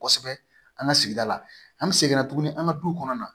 Kosɛbɛ an ka sigida la an bɛ segin tuguni an ka du kɔnɔ na